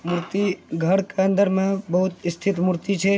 मूर्ति घर के अंदर में बहुत स्थित मूर्ति छे।